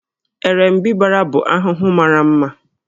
Erembịbara bụ ahụhụ mara mma